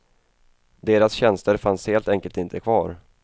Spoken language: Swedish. Deras tjänster fanns helt enkelt inte kvar.